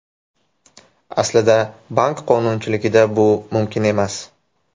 Aslida bank qonunchiligida bu mumkin emas.